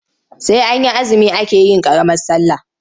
Sai an yi azumi ake yin ƙaramar sallah.